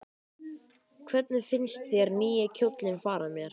Hvernig finnst þér nýi kjóllinn fara mér?